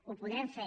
ho podrem fer